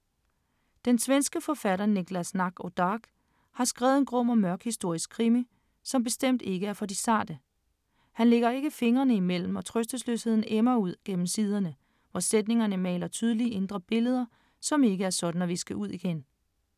Den svenske forfatter Niklas Natt och Dag har skrevet en grum og mørk historisk krimi, som bestemt ikke er for de sarte. Han lægger ikke fingrene imellem og trøstesløsheden emmer ud gennem siderne, hvor sætningerne maler tydelige indre billeder, som ikke er sådan at viske ud igen.